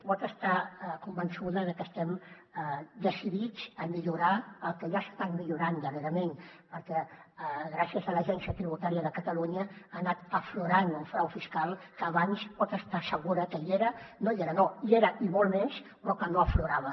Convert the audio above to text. pot estar convençuda de que estem decidits a millorar el que ja s’ha estat millorant darrerament perquè gràcies a l’agència tributària de catalunya ha anat aflorant un frau fiscal que abans pot estar segura que hi era no hi era no hi era i molt més però que no aflorava